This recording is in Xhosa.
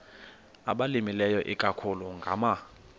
abalimileyo ikakhulu ngama